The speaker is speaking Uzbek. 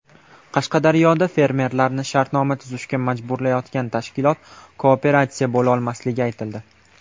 Qashqadaryoda fermerlarni shartnoma tuzishga majburlayotgan tashkilot kooperatsiya bo‘lolmasligi aytildi.